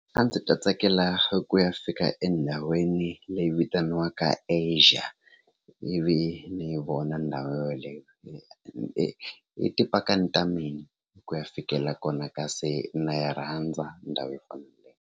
A ndzi ta tsakela ku ya fika endhawini leyi vitaniwaka Asia ivi ni yi vona ndhawu yeleyo hi hi hi tipakani ta mina hi ku ya fikelela kona kasi na yi rhandza ndhawu .